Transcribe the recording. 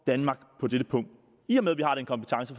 danmark på dette punkt i og med at